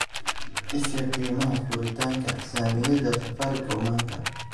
i sii qiimaha furitaanka saamiyada safaricom maanta